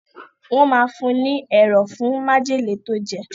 Wọ́n máa fún un ní ẹ̀rọ̀ fún májèlé tó jẹ̀.